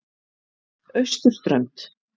Austurströnd